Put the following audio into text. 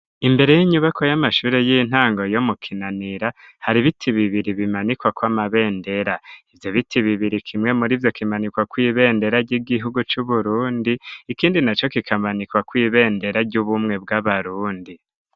Imbere y'inyubako y'amashuri y'intango yo mu kinanira hari biti bibiri bimanikwa kw'amabendera . ivyo biti bibiri kimwe muri vyo kimanikwa kw'ibendera ry'igihugu c'uburundi ikindi na co kikamanikwa kw'ibendera ry'ubumwe bw'abarundi.